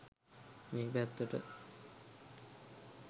මේ පැත්තට.